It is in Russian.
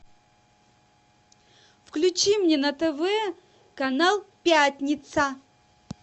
включи мне на тв канал пятница